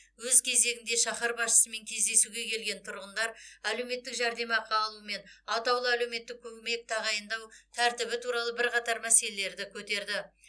өз кезегінде шаһар басшысымен кездесуге келген тұрғындар әлеуметтік жәрдемақы алу мен атаулы әлеуметтік көмек тағайындау тәртібі туралы бірқатар мәселелерді көтерді